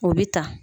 O bɛ ta